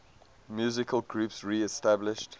musical groups reestablished